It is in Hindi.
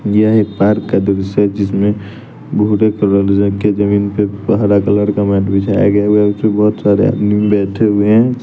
यह एक पार्क का दृश्य जिसमें भूरे कलर रख के जमीन पे हरा कलर का मैट बिछाया गया हुआ उसमें बहोत सारे आदमी बैठे हुए हैं।